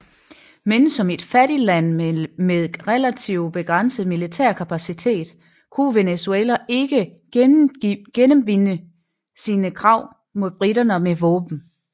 Men som et fattigt land med relativt begrænset militær kapacitet kunne Venezuela ikke gennemtvinge sine krav mod briterne med våben